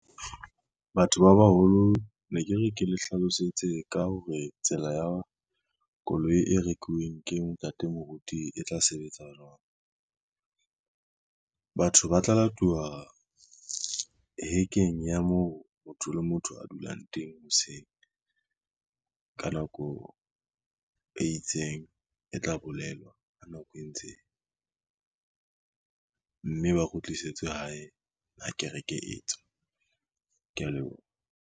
Batho ba baholo ne ke re ke le hlalosetse ka hore tsela ya koloi e rekuweng ke ntate moruti e tla sebetsa jwang. Batho ba tla latuwa hekeng ya moo motho le motho a dulang teng hoseng, ka nako e itseng e tla bolellwa ha nako e ntse eya, mme ba kgutlisetswe hae ha kereke etswa, kea leboha.